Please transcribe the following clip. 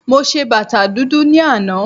Mo ṣe bàtà dúdú ní àná